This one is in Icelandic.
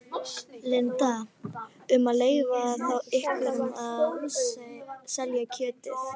Linda: Um að leyfa þá einhverjum að selja kjötið?